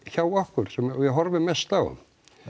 hjá okkur sem við horfum mest á